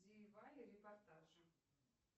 репортажи